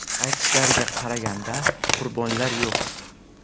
Aytishlariga qaraganda, qurbonlar yo‘q.